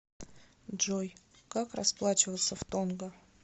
джой как расплачиваться в тонга